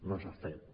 no s’ha fet